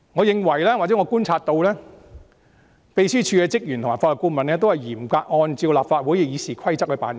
據我觀察所得，秘書處職員及法律顧問均嚴格按照立法會《議事規則》辦事。